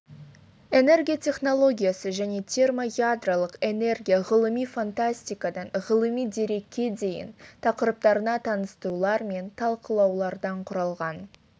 энергия технологиясы және термоядролық энергия ғылыми фантастикадан ғылыми дерекке дейін тақырыптарына таныстырулар мен талқылаулардан құралған